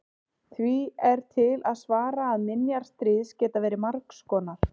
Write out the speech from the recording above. því er til að svara að minjar stríðs geta verið margs konar